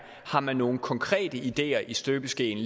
har man nogen konkrete ideer i støbeskeen